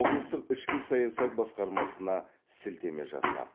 облыстық ішкі саясат басқармасына сілтеме жасап